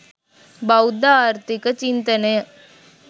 බෞද්ධ ආර්ථික චින්තනය